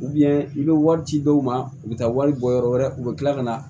i bɛ wari ci dɔw ma u bɛ taa wari bɔ yɔrɔ wɛrɛ u bɛ tila ka na